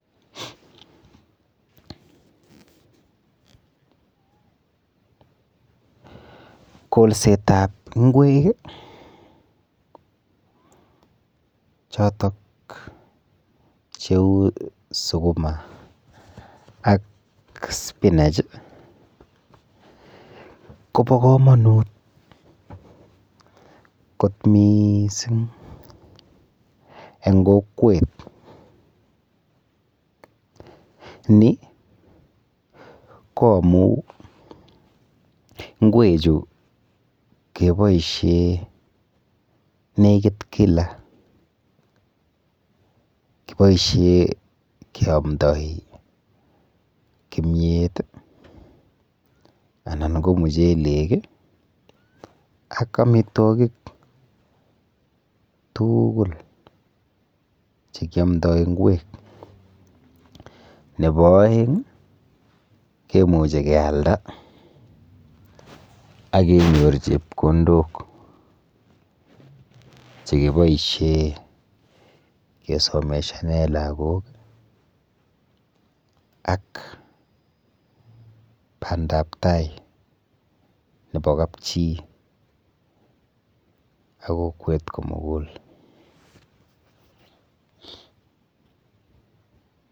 Kolsetap ng'wek chotok cheu sukuma ak spinach kopo komonut kot miising eng kokwet ni ko amu ng'wechu keboishe nekit kila, keboishe keamdoi kimiet anan ko muchelek, ak amitwokik tuugul chekiamdoi ng'wek. Nepo oeng kemuchi kealda akenyor chepkondok chekiboishe kesomeshane lagok ak bandaptai nepo kapchi ak kokwet komugul.